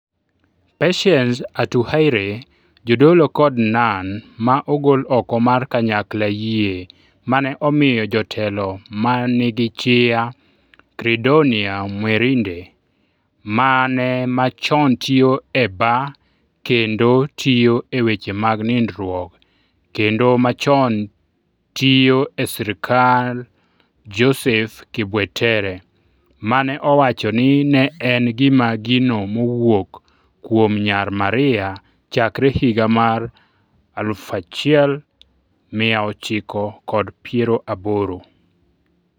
Patience Atuhaire Jodolo kod nun ma ogol oko mar kanyakla Yie mane omiyo jotelo ma nigi charisma Credonia Mwerinde, mane machon tiyo e bar kendo tiyo e weche mag nindruok kendo machon tiyo e sirkal Joseph Kibwetere, mane owacho ni ne en gi gino mowuok kuom Nyar Maria chakre higa mar 1980.